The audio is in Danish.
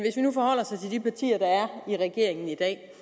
i regeringen i dag